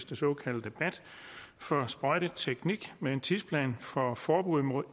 det såkaldte bat for sprøjteteknik med en tidsplan for forbud mod